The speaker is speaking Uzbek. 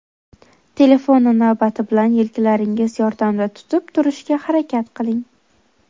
Telefonni navbati bilan yelkalaringiz yordamida tutib turishga harakat qiling.